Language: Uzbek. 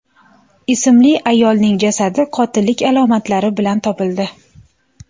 ismli ayolning jasadi qotillik alomatlari bilan topildi.